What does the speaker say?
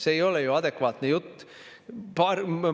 See ei ole ju adekvaatne jutt!